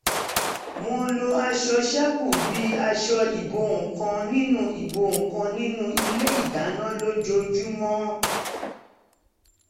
wọ́n ń lo aṣọ ṣẹ́kù bí àṣọ ìbo nǹkan nínú ìbo nǹkan nínú ilé ìdáná lójoojúmọ́